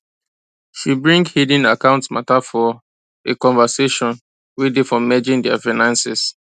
she bring hidden account matter for a conversation way day for merging their finances